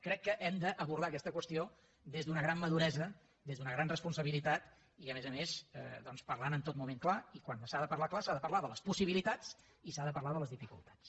crec que hem d’abordar aquesta qüestió des d’una gran maduresa des d’una gran responsabilitat i a més a més doncs parlant en tot moment clar i quan s’ha de parlar clar s’ha de parlar de les possibilitats i s’ha de parlar de les dificultats